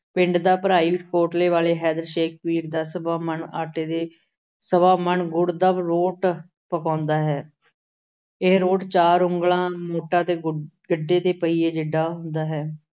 ਪਿੰਡ ਦਾ ਇਸ ਕੋਟਲੇ ਵਾਲੇ ਹੈਦਰ ਸ਼ੇਖ ਪੀਰ ਦਾ ਸਵਾ ਮਣ ਆਟੇ ਦੇ, ਸਵਾ ਮਣ ਗੁੜ ਦਾ ਰੋਟ ਪਕਾਉਂਦਾ ਹੈ। ਇਹ ਰੋਟ ਚਾਰ ਉਂਗਲਾਂ ਮੋਟਾ ਤੇ ਗੁੱਡ ਅਹ ਗੱਡੇ ਦੇ ਪਹੀਏ ਜਿੱਡਾ ਹੁੰਦਾ ਹੈ।